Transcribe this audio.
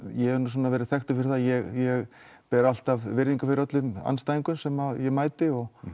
ég hef verið þekktur fyrir það að ég ber alltaf virðingu fyrir öllum andstæðingum sem ég mæti og